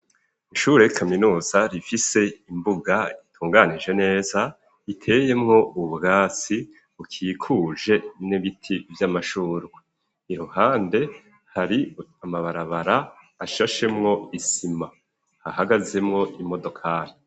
Ishure ikaminuza rifise imbuga itunganije neza iteyemwo ubwatsi ukikuje n'ibiti vy'amashurwa iruhande hari amabarabara ashashemwo isima hahagazemwo imodokari